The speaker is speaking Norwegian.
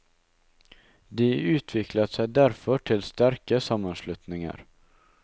De utviklet seg derfor til sterke sammenslutninger.